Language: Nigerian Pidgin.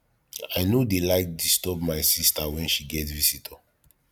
i no dey like disturb my sista wen she get visitor